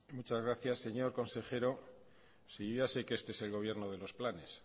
muchas gracias señor consejero yo ya sé que este es el gobierno de los planes